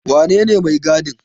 Wanene mai gadin?